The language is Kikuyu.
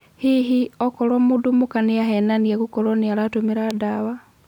Hihi, okoro mũndũ mũka nĩahenania gũkorwo nĩaratũmĩra dawa.